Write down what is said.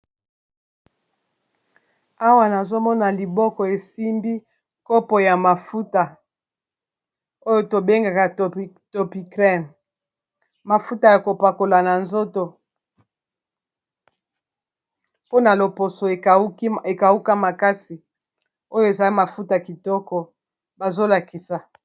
awa nazomona liboko esimbi nkopo ya mafuta oyo tobengaka topi crane mafuta ya kopakola na nzoto mpona loposo ekauka makasi oyo eza mafuta kitoko bazolakisa